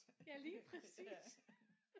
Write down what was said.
Ja lige præcis